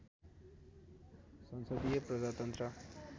संसदीय प्रजातन्त्र